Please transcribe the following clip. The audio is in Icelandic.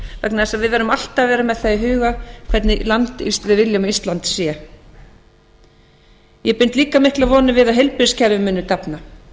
vegna þess að við verðum alltaf vera með það í huga hvernig land við viljum að ísland sé ég bind líka miklar vonir við að heilbrigðiskerfið muni dafna